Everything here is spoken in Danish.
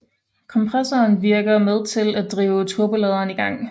Kompressoren virker med til at drive turboladeren i gang